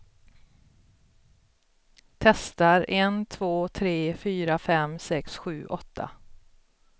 Testar en två tre fyra fem sex sju åtta.